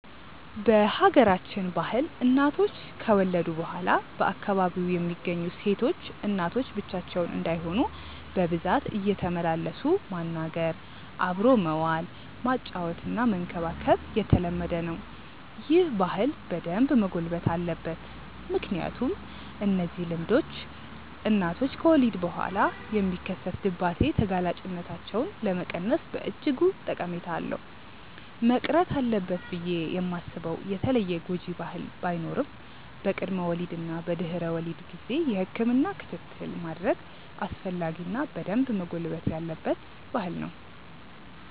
በሀገራችን ባህል እናቶች ከወለዱ በኋላ በአካባቢው የሚገኙ ሴቶች እናቶች ብቻቸውን እንዳይሆኑ በብዛት እየተመላለሱ ማናገር፣ አብሮ መዋል፣ ማጫወትና መንከባከብ የተለመደ ነው። ይህ ባህል በደንብ መጎልበት አለበት ምክንያቱም እነዚህ ልምምዶች እናቶች ከወሊድ በኋላ የሚከሰት ድባቴ ተጋላጭነታቸውን ለመቀነስ በእጅጉ ጠቀሜታ አለው። መቅረት አለበት ብዬ ማስበው የተለየ ጎጂ ባህል ባይኖርም በቅድመ ወሊድ እና በድህረ ወሊድ ጊዜ የህክምና ክትትል ማድረግ አስፈላጊ እና በደንብ መጎልበት ያለበት ባህል ነው።